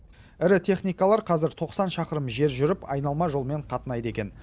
ірі техникалар қазір тоқсан шақырым жер жүріп айналма жолмен қатынайды екен